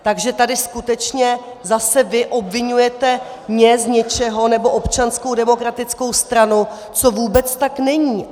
Takže tady skutečně zase vy obviňujete mě z něčeho, nebo Občanskou demokratickou stranu, co vůbec tak není.